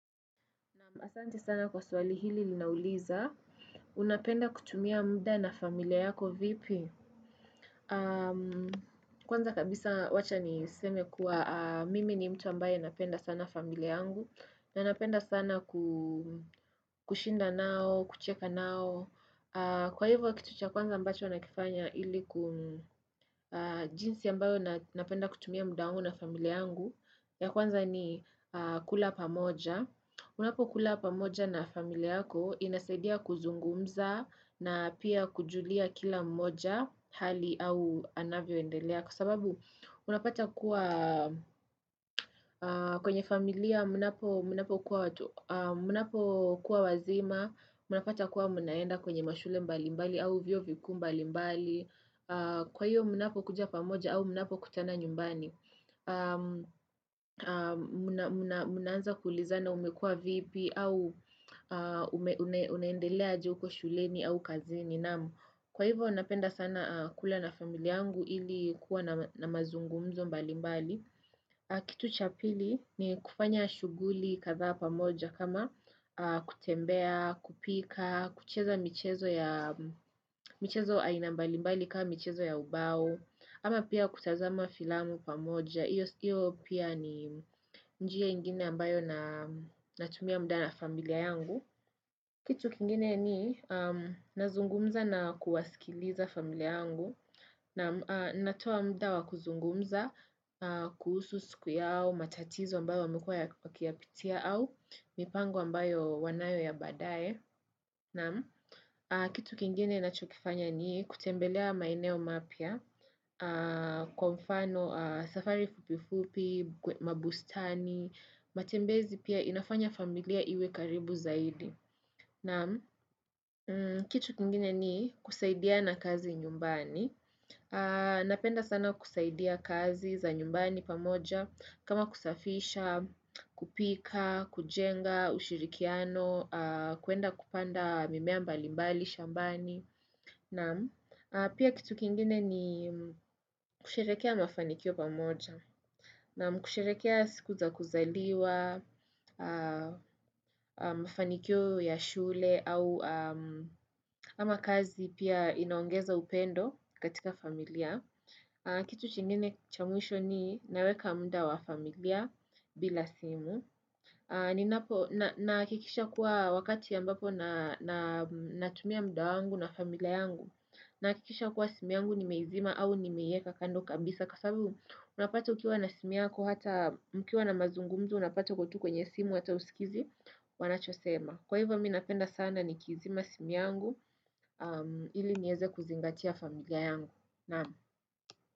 Asante sana kwa swali hili linauliza. Unapenda kutumia muda na familia yako vipi? Kwanza kabisa wacha niseme kuwa mimi ni mtu ambaye napenda sana familia yangu. Na napenda sana kushinda nao, kucheka nao. Kwa hivyo kitu cha kwanza ambacho nakifanya ili jinsi ambayo napenda kutumia muda wangu na familia yangu. Ya kwanza ni kula pamoja. Munapo kula pamoja na familia yako inasaidia kuzungumza na pia kujulia kila mmoja hali au anavyoendelea Kwa sababu unapata kuwa kwenye familia mnapo kuwa wazima Mnapata kuwa mnaenda kwenye mashule mbali mbali au vyuo vikuu mbalimbali Kwa hiyo mnapokuja pamoja au mnapo kutana nyumbani Mnaanza kulizana umekua vipi au unaendelea aje huko shuleni au kazini Kwa hivyo napenda sana kula na familia yangu Hili kuwa na mazungumzo mbali mbali Kitu cha pili ni kufanya shuguli kadhaa pamoja kama kutembea, kupika, kucheza michezo aina mbalimbali kama michezo ya ubao ama pia kutazama filamu pamoja Iyo pia ni njia ingine ambayo natumia muda na familia yangu. Kitu kingine ni nazungumza na kuwasikiliza familia yangu. Naam natowa muda wa kuzungumza, kuhusu siku yao, matatizo ambayo wamekua wakiyapitia au, mipango ambayo wanayo ya badae. Na kitu kingine nachokifanya ni kutembelea maeneo mapya kwa mfano safari fupifupi, mabustani, matembezi pia inafanya familia iwe karibu zaidi. Naam kitu kingine ni kusaidiana kazi nyumbani. Napenda sana kusaidia kazi za nyumbani pamoja kama kusafisha, kupika, kujenga, ushirikiano, kuenda kupanda mimea mbalimbali, shambani. Naam pia kitu kingine ni kusherehekea mafanikio pamoja naam kusherekea siku za kuzaliwa, mafanikio ya shule ama kazi pia inaongeza upendo katika familia. Kitu kingine cha mwisho ni naweka mda wa familia bila simu. Nahakikisha kuwa wakati ambapo na tumia mda wangu na familia yangu Nahakikisha kuwa simu yangu nimeizima au nimeieka kando kabisa Kwa sabu unapata ukiwa na simu yako hata mkiwa na mazungumzo unapata uko tu kwenye simu ata husikizi wanachosema Kwa hivyo mi napenda sana nikizima simu yangu ili nieze kuzingatia familia yangu.